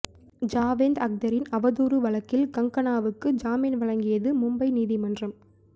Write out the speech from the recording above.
ஜாவேத் அக்தரின் அவதூறு வழக்கில் கங்கனாவுக்கு ஜாமீன் வழங்கியது மும்பை நீதிமன்றம்